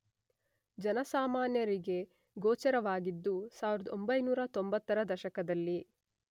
ಜನಸಾಮಾನ್ಯರಿಗೆ ಗೋಚರವಾಗಿದ್ದು ೧೯೯೦ರ ದಶಕದಲ್ಲಿ.